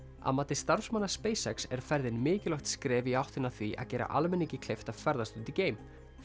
að mati starfsmanna er ferðin mikilvægt skref í áttina að því að gera almenningi kleift að ferðast út í geim